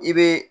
I be